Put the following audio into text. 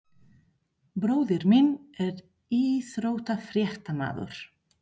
Bróðir minn er íþróttafréttamaður.